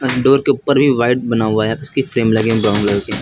Door के ऊपर भी वाइट बना हुआ है उसकी फ्रेम लगे हैं ब्राउन कलर के।